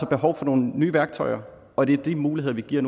behov for nogle nye værktøjer og det er de muligheder vi giver